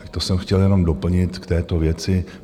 Tak to jsem chtěl jenom doplnit k této věci.